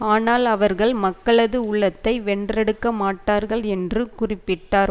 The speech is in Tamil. ஆனால் அவர்கள் மக்களது உள்ளத்தை வென்றெடுக்க மாட்டார்கள் என்று குறிப்பிட்டார்